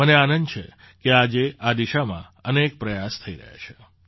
મને આનંદ છે કે આજે આ દિશામાં અનેક પ્રયાસ થઈ રહ્યા છે